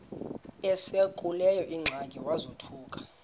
esekuleyo ingxaki wazothuka